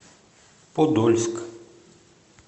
подольск